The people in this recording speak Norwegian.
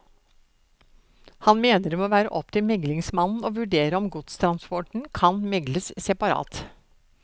Han mener det må være opp til meglingsmannen å vurdere om godstransporten kan megles separat.